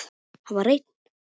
Hann var einn.